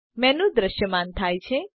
menu દ્રશ્યમાન થાય છે